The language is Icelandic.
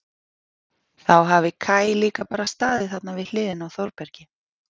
Þá hafi Kaj líka bara staðið þarna við hliðina á Þórbergi.